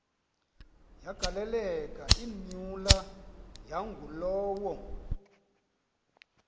yagaleleka imyula yangulowo